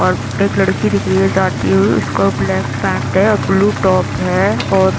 और एक लड़की दिख रही है जाती हुई उसका ब्लैक पैंट है और ब्लू टॉप है और--